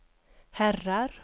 herrar